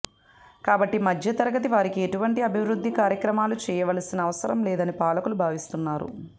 కాబట్టి మధ్యతరగతి వారికి ఎటువంటి అభివృద్ధి కార్యక్రమాలు చేయవలసిన అవసరం లేదని పాలకులు భావిస్తున్నారు